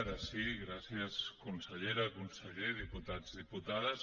ara sí gràcies consellera conseller diputats diputades